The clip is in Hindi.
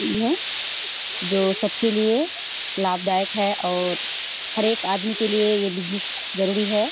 धन जो सबके लिए लाभदायक है और हर एक आदमी के लिए यह बिजनेस जरूरी है।